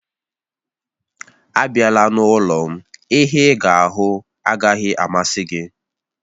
Abịala n'ụlọ m, ihe ịga ahụ agaghị amasị gị